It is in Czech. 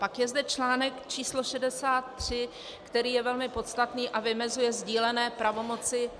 Pak je zde článek číslo 63, který je velmi podstatný a vymezuje sdílené pravomoci -